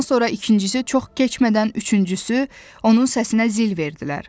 Bundan sonra ikincisi çox keçmədən üçüncüsü onun səsinə zil verdilər.